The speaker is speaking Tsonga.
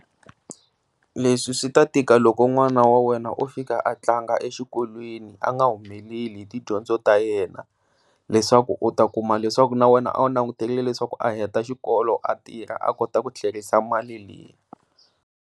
Leswi swi ta tika loko n'wana wa wena a fika tlanga exikolweni a nga humeleli tidyondzo ta yena leswaku u ta kuma leswaku na wena a wu langutele leswaku a heta xikolo a tirha a kota ku thlerisa mali leyi.